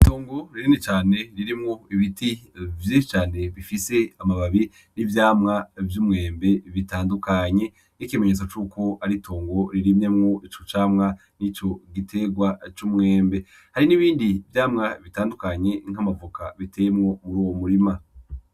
Itongo ririni cane ririmwo ibiti vyinshi cane bifise amababi n'ivyamwa vy'umwembe bitandukanye n'ikimenyetso c'uko aritongo ririmyemwo ico camwa ni co giterwa c'umwembe hari n'ibindi vyamwa bitandukanye nk'amavoka biteyemwo muri uwo murima.